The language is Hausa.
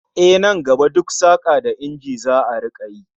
Ehh, nan gaba duk saka da injina za'a rika yi